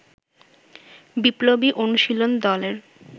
বিপ্লবী অনুশীলন দলের